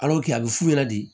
a bɛ fu yɛrɛ de